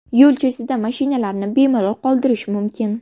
Yo‘l chetida mashinalarni bemalol qoldirish mumkin.